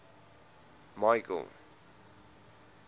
michael